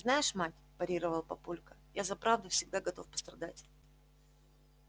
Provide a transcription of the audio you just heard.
знаешь мать парировал папулька я за правду всегда готов пострадать